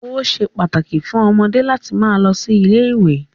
Ó ṣe pàtàkì fún ọmọdé láti máa lọ ilé-ìwé.